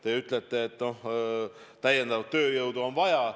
Te ütlete, et täiendavat tööjõudu on vaja.